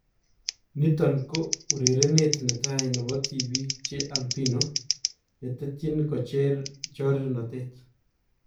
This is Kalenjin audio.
Niton ko urereet netai nebo tibiik che albino netetyin kocher chorirnotet